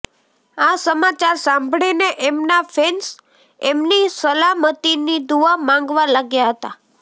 આ સમાચાર સાંભળીને એમના ફેન્સ એમની સલામતીની દુઆ માંગવા લાગ્યા હતા